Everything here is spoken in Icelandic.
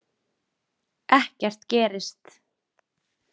Ekkert gerist.